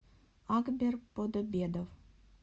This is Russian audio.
агбер подобедов